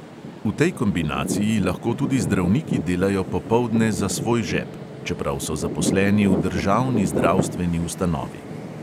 V tej kombinaciji lahko tudi zdravniki delajo popoldne za svoj žep, čeprav so zaposleni v državni zdravstveni ustanovi.